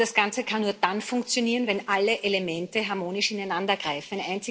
Aber das Ganze kann nur dann funktionieren, wenn alle Elemente harmonisch ineinandergreifen.